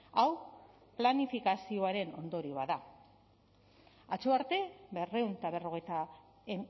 hau planifikazioaren ondorioa da atzo arte berrehun eta berrogeita